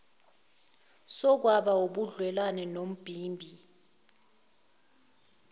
sokwaba ubudlelwane nombimbi